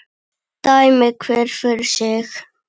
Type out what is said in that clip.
Dæmi hver fyrir sig.